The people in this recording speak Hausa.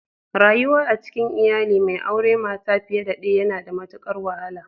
Rayuwa a cikin iyali mai auren mata fiye da daya yana da matukar wahala.